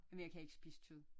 Men jeg kan ikke spise kød